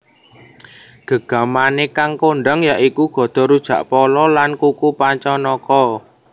Gegamané kang kondhang ya iku Gada Rujakpolo lan kuku Pancanaka